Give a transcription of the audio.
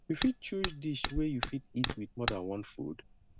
you fit choose dish wey you fit eat with more than one food